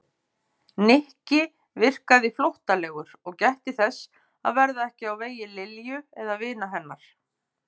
Nikki virkaði flóttalegur og gætti þess að verða ekki á vegi Lilju eða vina hennar.